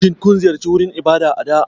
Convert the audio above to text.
Shin kun ziyarci wurin ibada a baya?